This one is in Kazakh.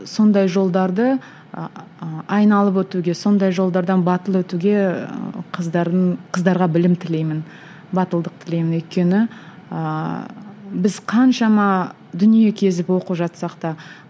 сондай жолдарды айналып өтуге сондай жолдардан батыл өтуге қыздардың қыздарға білім тілеймін батылдық тілеймін өйткені ііі біз қаншама дүние кезіп оқып жатсақ та